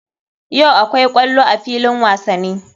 Yau akwai ƙwallo a filin wasani.